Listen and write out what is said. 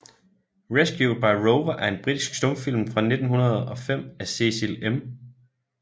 Rescued by Rover er en britisk stumfilm fra 1905 af Cecil M